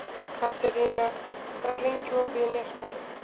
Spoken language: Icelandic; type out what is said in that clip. Katerína, hvað er lengi opið í Nesbæ?